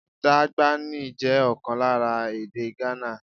Dagbani jẹ́ ọ̀kan lára èdè Ghana.